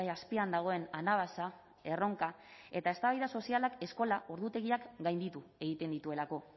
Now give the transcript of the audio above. azpian dagoen anabasa erronka eta eztabaida sozialak eskola ordutegiak gainditu egiten dituelako